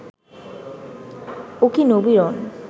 ওকি Nabiran